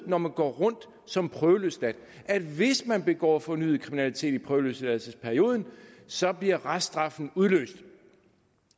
når man går rundt som prøveløsladt at hvis man begår fornyet kriminalitet i prøveløsladelsesperioden så bliver reststraffen udløst